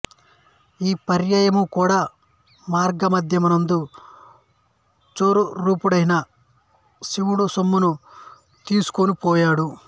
ఈ పర్యాయము కూడా మార్గమధ్యమందు చోరురూపుడైన శివుడా సొమ్మును తీసుకొనిపోయాడు